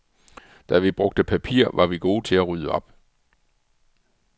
Da vi brugte papir, var vi gode til at rydde op.